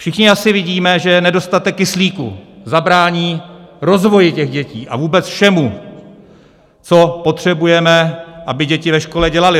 Všichni asi vidíme, že nedostatek kyslíku zabrání rozvoji těch dětí a vůbec všemu, co potřebujeme, aby děti ve škole dělaly.